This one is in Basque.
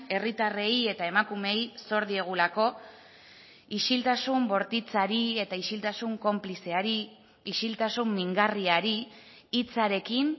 herritarrei eta emakumeei zor diegulako isiltasun bortitzari eta isiltasun konplizeari isiltasun mingarriari hitzarekin